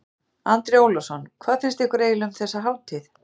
Andri Ólafsson: Hvað finnst ykkur eiginlega um þessa hátíð?